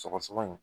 Sɔgɔsɔgɔni